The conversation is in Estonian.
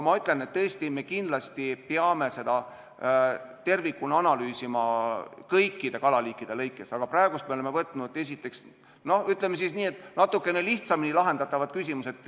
Me kindlasti peame tervikuna analüüsima kõikide kalaliikide kaupa, aga praegu me oleme võtnud ette, ütleme siis nii, esimeses järjekorras natukene lihtsamini lahendatavad küsimused.